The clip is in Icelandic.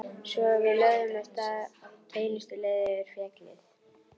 Svo við lögðum af stað beinustu leið yfir fjallið.